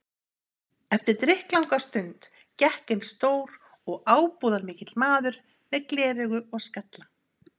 Eftir drykklanga stund gekk inn stór og ábúðarmikill maður með gleraugu og skalla.